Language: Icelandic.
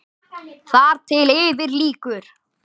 Þar til yfir lýkur.